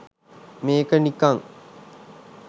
මේක නිකං